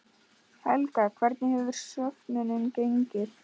Helga, hvernig hefur söfnunin gengið?